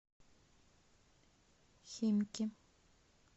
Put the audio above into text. химки